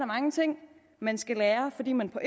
mange ting man skal lære fordi man på